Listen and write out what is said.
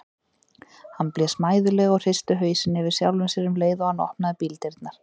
Hann blés mæðulega og hristi hausinn yfir sjálfum sér um leið og hann opnaði bíldyrnar.